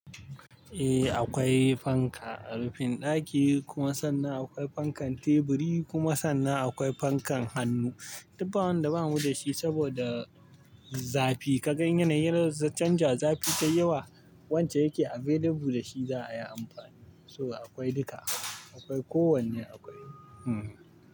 Eh akwai fanka a rufin ɗaki kuma sannan akwai fankan teburi kuma sannan akwai fankan hannu. Duk ba wanda bamu da shi saboda zafi. Ka gan yanayin canja zafi ta yawa wance yake available da shi za a yi amfani. So akwai duka, akwai kowanne akwai. Hmm.